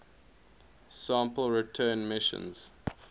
sample return missions